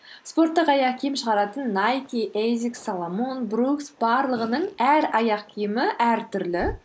спорттық аяқ киім шығаратын найки эйзикс соломон брукс барлығының әр аяқ киімі әртүрлі